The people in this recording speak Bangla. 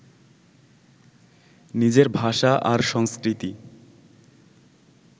নিজের ভাষা আর সংস্কৃতি